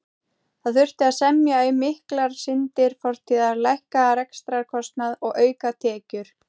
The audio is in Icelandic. Það þurfti að semja um miklar syndir fortíðar, lækka rekstrarkostnað og auka tekjur.